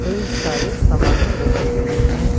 कई सारे सामानें रखी गई हैं।